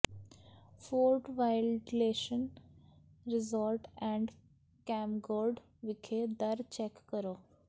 fort wilderness resort and campground ਵਿਖੇ ਦਰ check ਕਰੋ